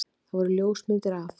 Það voru ljósmyndir af